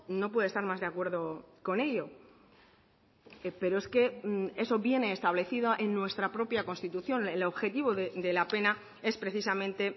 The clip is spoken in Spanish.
no puede estar más de acuerdo con ello pero es que eso viene establecido en nuestra propia constitución el objetivo de la pena es precisamente